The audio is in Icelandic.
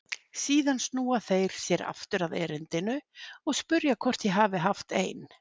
Síðan snúa þeir sér aftur að erindinu og spyrja hvort ég hafi haft ein